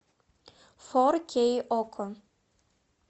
фор кей окко